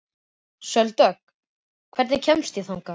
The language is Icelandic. Sóldögg, hvernig kemst ég þangað?